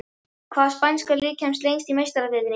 Hvaða spænska lið kemst lengst í Meistaradeildinni?